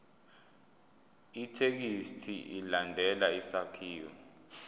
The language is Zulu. ithekisthi ilandele isakhiwo